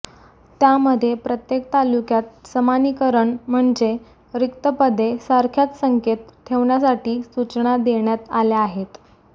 त्यामध्ये प्रत्येक तालुक्यात समानिकरण म्हणजे रिक्त पदे सारख्याच संख्येत ठेवण्यासाठी सूचना देण्यात आल्या आहेत